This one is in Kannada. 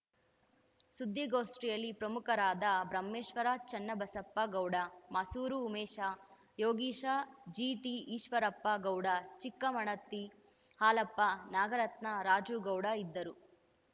ಸುದ್ದಿಗೋಷ್ಠಿಯಲ್ಲಿ ಪ್ರಮುಖರಾದ ಬ್ರಹ್ಮೇಶ್ವರ ಚೆನ್ನಬಸಪ್ಪ ಗೌಡ ಮಾಸೂರು ಉಮೇಶ ಯೋಗೀಶ ಜಿಟಿಈಶ್ವರಪ್ಪ ಗೌಡ ಚಿಕ್ಕಮಣತಿ ಹಾಲಪ್ಪ ನಾಗರತ್ನ ರಾಜು ಗೌಡ ಇದ್ದರು